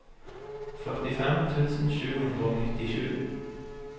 førtifem tusen sju hundre og nittisju